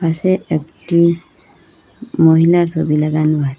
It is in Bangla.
পাশে একটি মহিলার সবি লাগানো আছে।